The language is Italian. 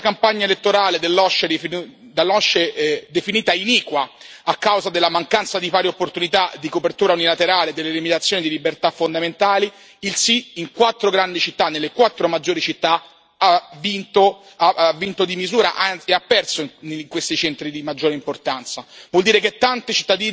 Eppure, nonostante questa campagna elettorale dall'OSCE definita iniqua, a causa della mancanza di pari opportunità, della copertura unilaterale e delle limitazioni alle libertà fondamentali, il sì in quattro grandi città, nelle quattro maggiori città, ha vinto di misura, anzi ha perso in questi centri di maggiore importanza.